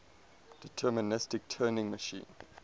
deterministic turing machine